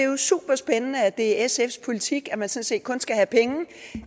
jo superspændende at det er sfs politik at man sådan set kun skal have penge